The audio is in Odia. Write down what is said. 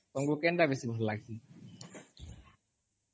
ତମକୁ କେନ୍ ଟା ବେଶୀ ଭଲ୍ ଲଗସି?